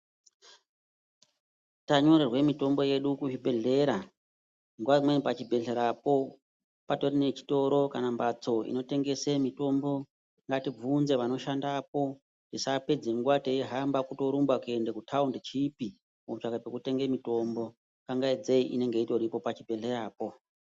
Tanyorerwe mitombo yedu kuzvibhedhlera nguwa imweni pachibhedhlerapo patori nechitoro kana mbatso inotengese mitombo, ngatibvunze vano shandapo. Tisapedze nguwa teihamba kutorumba kuende kutaundichipi kutsvaka pekutenge mitombo. Kangaidzei inenge itoripo pachi bhedhleyapo.